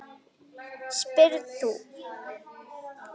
spyrð þú.